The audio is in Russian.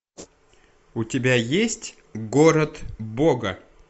у тебя есть город бога